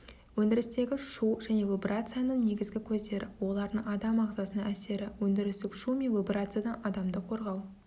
өндірістегі шу және вибрацияның негізгі көздері олардың адам ағзасына әсері өндірістік шу мен вибрациядан адамды қорғау